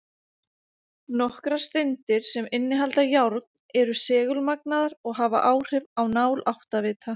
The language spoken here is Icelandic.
Nokkrar steindir, sem innihalda járn, eru segulmagnaðar og hafa áhrif á nál áttavita.